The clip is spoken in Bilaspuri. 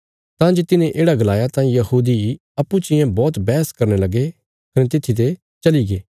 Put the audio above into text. तां जे तिने येढ़ा गलाया तां यहूदी अप्पूँ चियें बौहत बैहस करने लगे कने तित्थी ते चलीगे